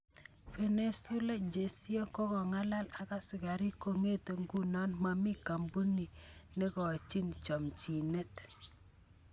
Venezuela, cheesio, kokongalal ak askarik kongete nguno momi kambunit negekochin chomchinet.